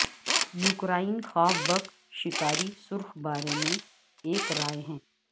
Ukraine خواب بک شکاری سرخ بارے میں ایک رائے ہے